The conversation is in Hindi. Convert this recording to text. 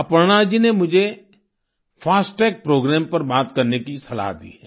अपर्णा जी ने मुझे फास्टैग प्रोग्राम पर बात करने की सलाह दी है